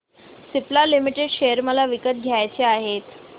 Cipla limited share मला विकत घ्यायचे आहेत